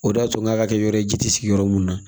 O de y'a to n k'a kɛ yɔrɔ ye ji tɛ sigi yɔrɔ mun na